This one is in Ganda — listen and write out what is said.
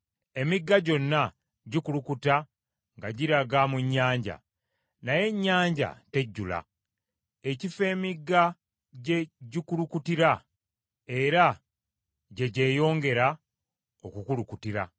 Emigga gyonna gikulukuta nga giraga mu nnyanja, naye ennyanja tejjula; ekifo emigga gye gikulukutira era gye gyeyongera okukulukutira.